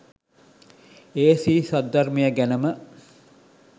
ඒ ශ්‍රී සද්ධර්මය ගැනම